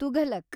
Tughlaq